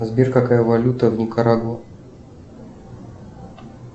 сбер какая валюта в никарагуа